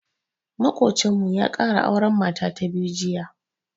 Maƙocinmu ya ƙara auren mata ta biyu jiya.